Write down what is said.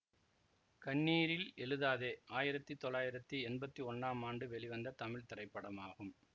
கண்ணீரில் எழுதாதே ஆயிரத்தி தொள்ளாயிரத்தி எம்பத்தி ஒன்னாம் ஆண்டு வெளிவந்த தமிழ் திரைப்படமாகும்